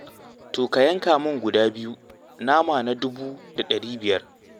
To, ka yanka min guda biyu, nama na dubu da ɗari biyar.